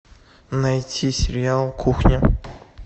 найти сериал кухня